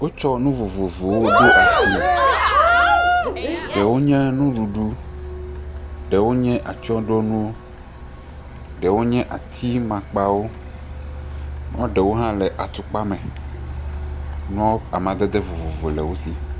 Wotsɔ nu vovovowo do asi , ɖewo nye nuɖuɖu ɖewo nye atsyɔ̃ɖo nu ɖeo nye ati makpawo, ɖewo hã le atu kpa me amadede vovovo le wo si.